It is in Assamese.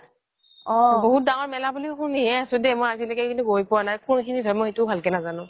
বহুত ডাঙৰ মেলা বুলি শুনিহে আছো দেই মই আজিলৈকে কিন্তু গৈ পোৱা নাই কোন খিনিত হয় সেইটো মই ভালকৈ নাজানো